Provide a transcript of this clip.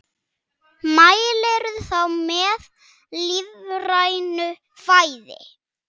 Mælirðu þá með lífrænu fæði?